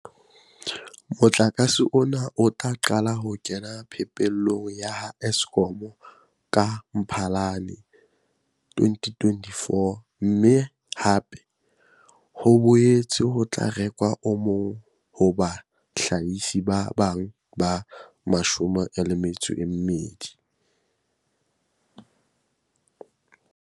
Motlakase ona o tla qala ho kena phepelong ya ha Eskom ka Mphalane 2024, mme hape ho boetse ho tla rekwa o mong ho bahlahisi ba bang ba 22.